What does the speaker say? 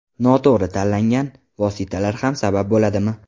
Noto‘g‘ri tanlangan vositalar ham sabab bo‘ladimi?